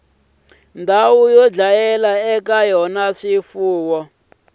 yo dlayela eka yona swifuwo